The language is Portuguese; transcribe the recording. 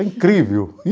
É incrível.